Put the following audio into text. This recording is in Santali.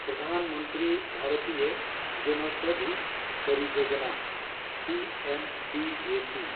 ᱯᱨᱚᱫᱷᱟᱱ ᱢᱚᱱᱛᱨᱤ ᱵᱷᱟᱨᱤᱛᱤᱭᱚ ᱡᱚᱱᱳᱣᱥᱚᱫᱷᱤ ᱯᱚᱨᱤᱭᱳᱡᱚᱱᱟ’ (P M B J P)